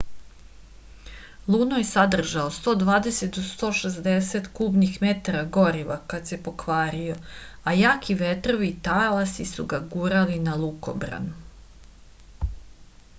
luno je sadržao 120-160 kubnih metara goriva kad se pokvario a jaki vetrovi i talasi su ga gurnuli na lukobran